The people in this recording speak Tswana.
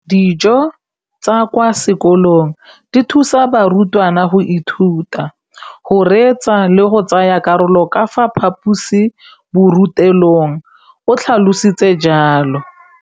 Dijo tsa kwa sekolong dithusa barutwana go ithuta, go reetsa le go tsaya karolo ka fa phaposiborutelong, o tlhalositse jalo.